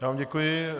Já vám děkuji.